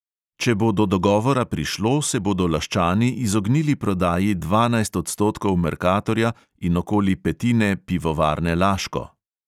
Če bo do dogovora prišlo, se bodo laščani izognili prodaji dvanajst odstotkov merkatorja in okoli petine pivovarne laško.